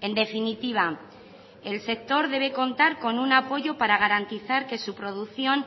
en definitiva el sector debe contar con un apoyo para garantizar que su producción